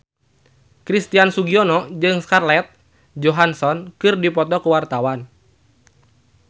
Christian Sugiono jeung Scarlett Johansson keur dipoto ku wartawan